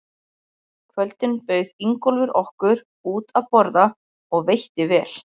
kvöldin bauð Ingólfur okkur út að borða og veitti vel.